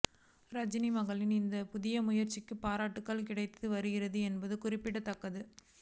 ரஜினி மகளின் இந்த புதிய முயற்சிக்கு பாராட்டுகள் கிடைத்து வருகிறது என்பது குறிப்பிடத்தக்கது